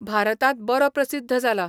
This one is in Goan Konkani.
भारतांत बरो प्रसिद्ध जाला.